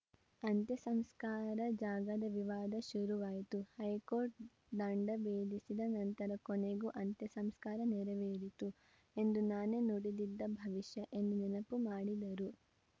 ಅಂತ್ಯಸಂಸ್ಕಾರ ಜಾಗದ ವಿವಾದ ಶುರುವಾಯಿತು ಹೈಕೋರ್ಟ್‌ ದಂಡ ಬೇದಿಸಿದ ನಂತರ ಕೊನೆಗೂ ಅಂತ್ಯಸಂಸ್ಕಾರ ನೆರವೇರಿತು ಎಂದು ನಾನೇ ನುಡಿದಿದ್ದ ಭವಿಷ್ಯ ಎಂದು ನೆನಪು ಮಾಡಿದರು